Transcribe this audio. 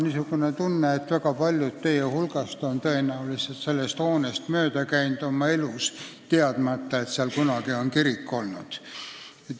Mul on tunne, et paljud teie hulgast on sellest hoonest mööda käinud, teadmata, et seal kunagi on kirik olnud.